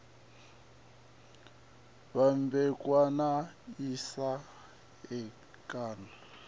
vhambedzwa na asia amerika na